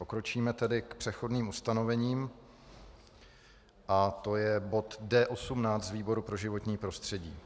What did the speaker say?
Pokročíme tedy k přechodným ustanovením a to je bod D18 z výboru pro životní prostředí.